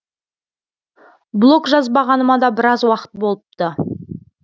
блог жазбағаныма да біраз уақыт болыпты